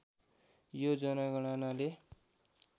यो जनगणनाले